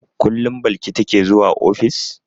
Kullum Balki take zuwa ofis?